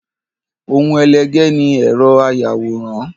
Ohun ẹlẹgẹ́ ni ẹ̀rọ ayàwòrán.